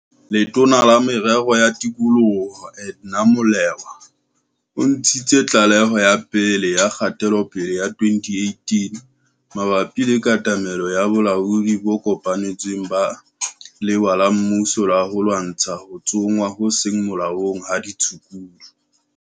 Letona la Merero ya Tikoloho, Edna Molewa, o ntshitse tlaleho ya pele ya kgatelopele ya 2018 mabapi le katamelo ya bolaodi bo kopanetsweng ba lewa la mmuso la ho lwantsha ho tsongwa ho seng molaong ha ditshukudu.